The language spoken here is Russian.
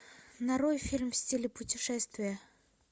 нарой фильм в стиле путешествия